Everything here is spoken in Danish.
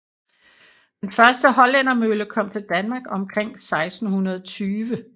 Den første hollændermølle kom til Danmark omkring 1620